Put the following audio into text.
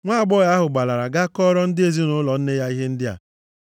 Nwaagbọghọ ahụ gbalara gaa kọọrọ ndị ezinaụlọ nne ya ihe ndị a.